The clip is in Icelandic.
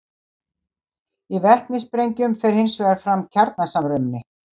Í vetnissprengjum fer hins vegar fram kjarnasamruni.